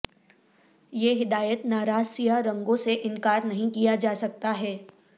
یہ ہدایت ناراض سیاہ رنگوں سے انکار نہیں کیا جاسکتا ہے